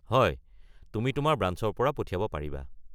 হয়, তুমি তোমাৰ ব্ৰাঞ্চৰ পৰা পঠিয়াব পাৰিবা।